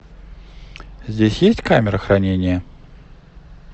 здесь есть камера хранения